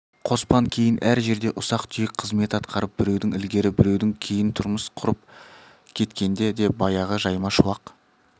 қоспан кейін әр жерде ұсақ-түйек қызмет атқарып біреуден ілгері біреуден кейін тұрмыс құрып кеткенде де баяғы жайма шуақ